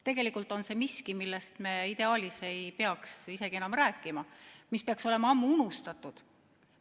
Tegelikult on see miski, millest me ideaalis ei peaks isegi enam rääkima ja mis peaks olema ammu unustatud.